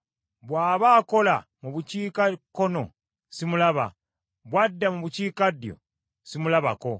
Bw’aba akola mu bukiikakkono simulaba, bw’adda mu bukiikaddyo, simulabako.